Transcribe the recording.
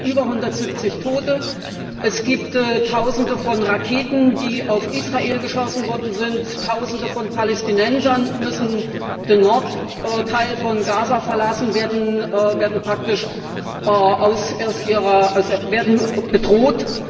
Es gibt schon über 170 Tote, es gibt Tausende von Raketen, die auf Israel geschossen worden sind, Tausende von Palästinensern müssen den Nordteil von Gaza verlassen, werden bedroht.